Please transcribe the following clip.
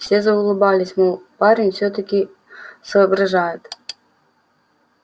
все заулыбались мол парень всё-таки соображает